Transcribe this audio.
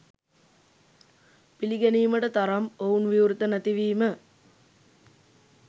පිළිගැනීමට තරම් ඔවුන් විවෘත නැති වීම